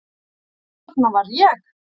Þarna var ég.